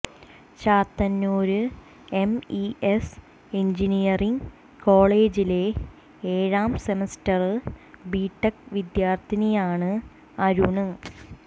Chathannoor MES engineering കോളജിലെ ഏഴാം semester BTech വിദ്യാര്ത്ഥിയാണ് അരുണ്